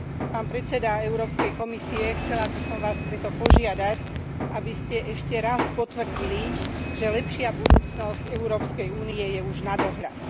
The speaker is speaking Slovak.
Pán predseda Európskej komisie, chcela by som Vás preto požiadať, aby ste ešte raz potvrdili, že lepšia budúcnosť Európskej únie je už na dohľad.